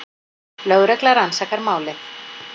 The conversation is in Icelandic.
Lögregla rannsakar málið